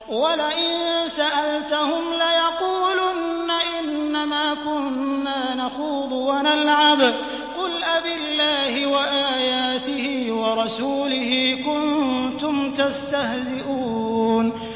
وَلَئِن سَأَلْتَهُمْ لَيَقُولُنَّ إِنَّمَا كُنَّا نَخُوضُ وَنَلْعَبُ ۚ قُلْ أَبِاللَّهِ وَآيَاتِهِ وَرَسُولِهِ كُنتُمْ تَسْتَهْزِئُونَ